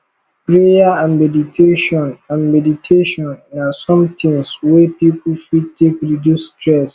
prayer and meditation and meditation na some things wey pipo fit take reduce stress